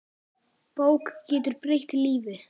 Bók getur breytt lífi.